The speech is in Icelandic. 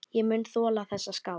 Ég mun þola þessa skál.